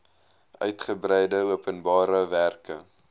uigebreide openbare werke